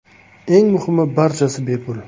Eng muhimi, barchasi bepul!